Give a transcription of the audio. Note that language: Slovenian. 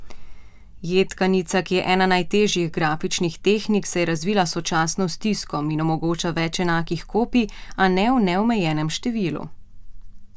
Jedkanica, ki je ena najtežjih grafičnih tehnik, se je razvila sočasno s tiskom in omogoča več enakih kopij, a ne v neomejenem številu.